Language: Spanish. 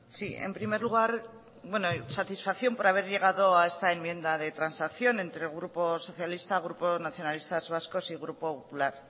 sí en primer lugar satisfacción por haber llegado a esta enmienda de transacción entre el grupo socialista grupo nacionalistas vascos y grupo popular